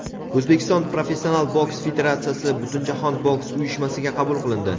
O‘zbekiston professional boks federatsiyasi Butunjahon boks uyushmasiga qabul qilindi.